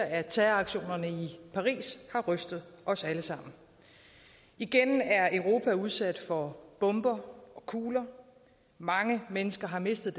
at terroraktionerne i paris har rystet os alle sammen igen er europa udsat for bomber og kugler mange mennesker har mistet